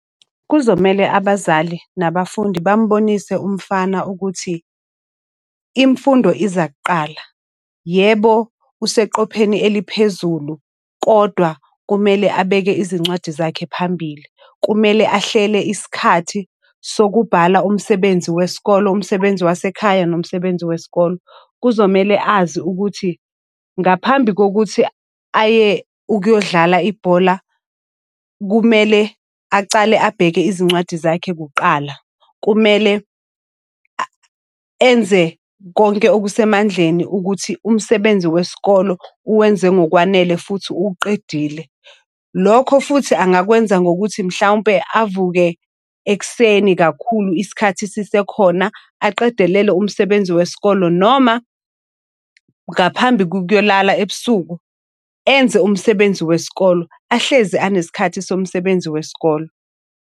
Kuzomele abazali nabafundi bambonise umfana ukuthi imfundo iza kuqala. Yebo, useqopheni eliphezulu, kodwa kumele abeke izincwadi zakhe phambili. Kumele ahlele isikhathi sokubhala umsebenzi wesikolo, umsebenzi wasekhaya, nomsebenzi wesikolo. Kuzomele azi ukuthi ngaphambi kokuthi aye ukuyodlala ibhola, kumele acale abheke izincwadi zakhe kuqala. Kumele enze konke okusemandleni ukuthi umsebenzi wesikolo uwenze ngokwanele futhi uwuqedile. Lokho futhi angakwenza ngokuthi mhlawumpe avuke ekuseni kakhulu. Isikhathi sisekhona aqedelele umsebenzi wesikole noma ngaphambi kukyolala ebusuku enze umsebenzi wesikolo. Ahlezi anesikhathi somsebenzi wesikolo.